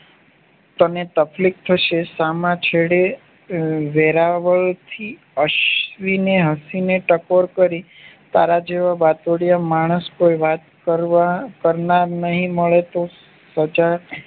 તને તકલીફ થશે સામ છેડે વેરાવળ થી અશ્વિને હસી ને ટકોર કરી તારા જેવા વાટડીયો માણશ કોઈ વાત કરવા કરનાર નહિ મળે તો સજા